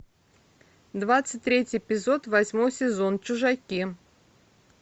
двадцать третий эпизод восьмой сезон чужаки